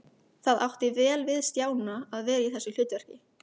Það átti vel við Stjána að vera í þessu hlutverki.